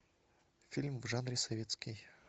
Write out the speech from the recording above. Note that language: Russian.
фильм в жанре советский